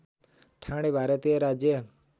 ठाणे भारतीय राज्य